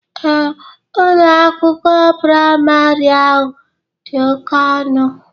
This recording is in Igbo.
Ee, Ụlọ akwụkwọ praịmarị ahụ dị oke ọnụ